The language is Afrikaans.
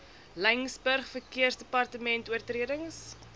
laingsburg verkeersdepartement oortredings